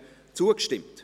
zugestimmt.